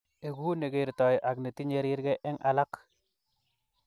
Egu ne kertoi ak netinyei rirge eng alak